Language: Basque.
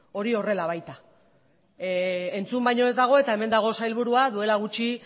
hori horrela baita entzun baino ez dago eta hemen dago sailburua duela gutxi